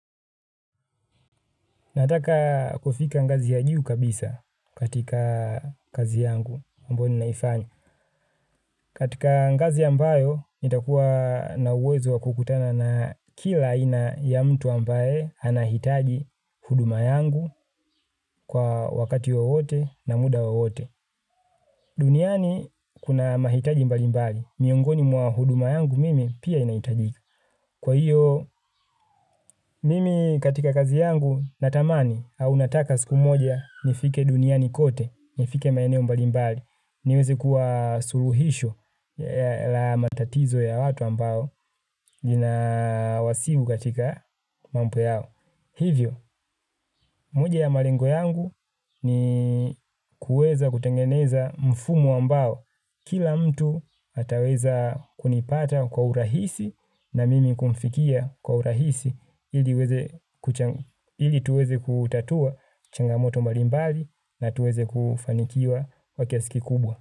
Nataka kufika ngazi ya juu kabisa katika kazi yangu ambao ninaifanya. Katika ngazi ambayo nitakuwa na uwezo wa kukutana na kila aina ya mtu ambaye anahitaji huduma yangu kwa wakati wowote na muda wowote. Duniani kuna mahitaji mbalimbali. Miongoni mwa huduma yangu mimi pia inahitaji. Kwa hiyo mimi katika kazi yangu natamani au nataka siku moja nifike duniani kote, nifike maeneo mbalimbali niweze kuwa suluhisho la matatizo ya watu ambao lina wasiu katika mambo yao. Hivyo, moja ya malengo yangu ni kuweza kutengeneza mfumo ambao. Kila mtu ataweza kunipata kwa urahisi na mimi kumfikia kwa urahisi ili tuweze kutatua changamoto mbali mbali na tuweze kufanikiwa kwa kiasi kikubwa.